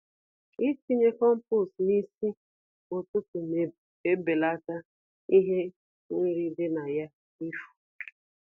Itinye compost n'isi ụtụtụ na-ebelata ihe nri di na ya ifu.